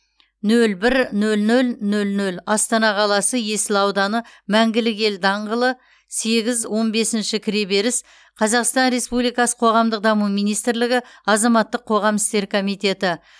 нөл бір нөл нөл нөл нөл астана қаласы есіл ауданы мәңгілік ел даңғылы сегіз он бесіші кіреберіс қазақстан республикасы қоғамдық даму министрлігі азаматтық қоғам істері комитеті